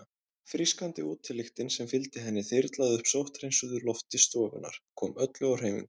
Frískandi útilyktin sem fylgdi henni þyrlaði upp sótthreinsuðu lofti stofunnar, kom öllu á hreyfingu.